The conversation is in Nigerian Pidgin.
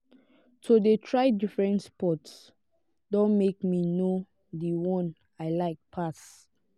to de try different sports don make me know di one i like pass